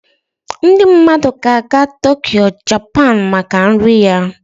Ndị mmadụ ga-aga Tokyo, Japan maka nri Ya